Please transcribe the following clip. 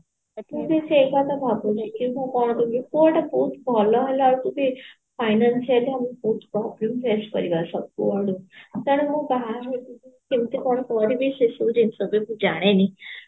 ମୁଁ ବି ସେଇ କଥା ଭାବୁଛି କିନ୍ତୁ କଣ କହିଲୁ ପୁଅଟା ବହୁତ ଭଲ ହେଲାକୁ ଯଦି financial ଆମକୁ ତେଣୁ ମୁଁ କଣ ପଢିବି ସେସବୁ ଜିନିଷ ତ ମୁଁ ଜାଣିନି